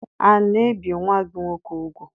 A na-ebi nwa gị nwoke ugwu?